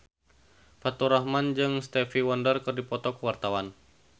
Faturrahman jeung Stevie Wonder keur dipoto ku wartawan